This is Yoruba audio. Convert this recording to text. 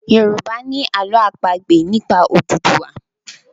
Yorùbá ni àlọ́ àpagbè nípa Odùduwa